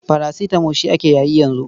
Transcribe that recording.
Parasitamo shi ake yayi yanzu.